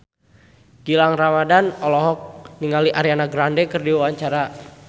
Gilang Ramadan olohok ningali Ariana Grande keur diwawancara